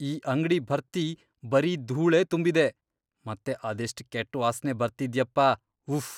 ಈ ಅಂಗ್ಡಿ ಭರ್ತಿ ಬರೀ ಧೂಳೇ ತುಂಬಿದೆ.. ಮತ್ತೆ ಅದೆಷ್ಟ್ ಕೆಟ್ಟ್ ವಾಸ್ನೆ ಬರ್ತಿದ್ಯಪ್ಪಾ..ವುಫ್!